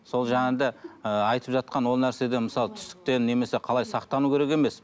сол де ыыы айтып жатқан ол нәрседен мысалы түстіктен немесе қалай сақтану керек емес